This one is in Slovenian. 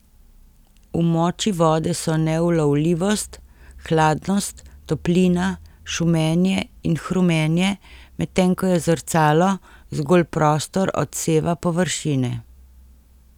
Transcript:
V moči vode so neulovljivost, hladnost, toplina, šumenje in hrumenje, medtem ko je zrcalo zgolj prostor odseva površine.